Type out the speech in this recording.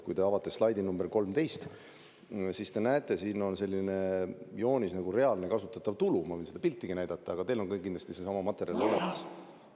Kui te avate slaidi nr 13, siis te näete, siin on selline joonis nagu "Reaalne kasutatav tulu", ma võin seda piltigi näidata, aga teil on ka kindlasti seesama materjal olemas.